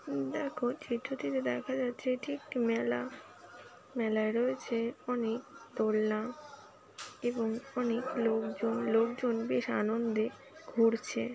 দেখো চিত্রটিতে দেখা যাচ্ছে এটি একটি মেলা মেলায় রয়েছে অনেক দোলনা এবং অনেক লোকজন লোকজন বেশ আনন্দে ঘুরছে।